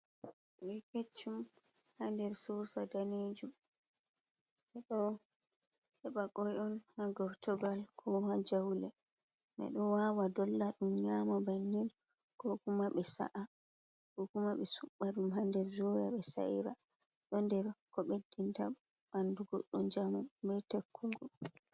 Koi keccum ha nder sosa danejum, ɓe ɗo heba koi on ha gortogal ko ha jaule, ɓe ɗo wawa dolla & ɗum nyama bannin, ko kuma be sa’a, ko kuma be suba ɗum ha nder doya be sa'ira. Ɗo nder ko ɓeddinta ɓandu goɗɗo njamu be takkugo.